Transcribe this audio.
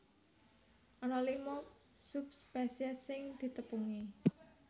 Ana lima subspesies sing ditepungi